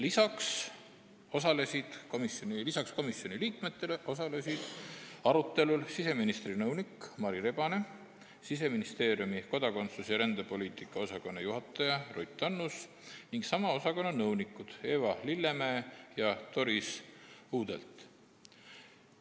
Lisaks komisjoni liikmetele osalesid arutelul siseministri nõunik Mari Rebane, Siseministeeriumi kodakondsus- ja rändepoliitika osakonna juhataja Ruth Annus ning sama osakonna nõunikud Eva Lillemäe ja Doris Uudelt.